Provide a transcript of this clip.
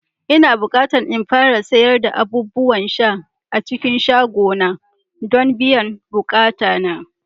Ina bukata in fara sayar da abubuwan sha a cikin shagona don biyan bukatuna